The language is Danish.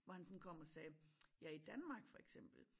Hvor han sådan kom og sagde ja i Danmark for eksempel